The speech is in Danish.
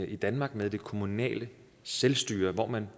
i danmark med det kommunale selvstyre hvor man